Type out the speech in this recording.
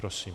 Prosím.